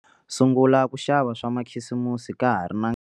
Sungula ku xava swa makhisimusi ka ha ri na.